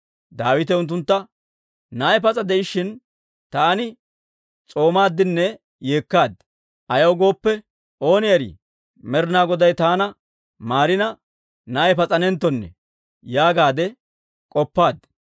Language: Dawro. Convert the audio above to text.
Daawite unttuntta, «Na'ay pas'a de'ishshin taani s'oomaadinne yeekkaad; ayaw gooppe, ‹Ooni erii, Med'inaa Goday taana maarina, na'ay pas'anenttonne› yaagaade k'oppaad.